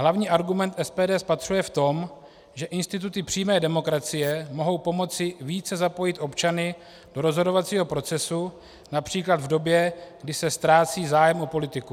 Hlavní argument SPD spatřuje v tom, že instituty přímé demokracie mohou pomoci více zapojit občany do rozhodovacího procesu, například v době, kdy se ztrácí zájem o politiku.